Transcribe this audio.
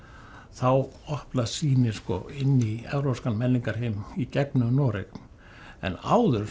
þá opnast sýnin inn í evrópskan menningarheim í gegnum Noreg en áður